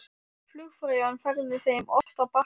Flugfreyjan færði þeim ost á bakka.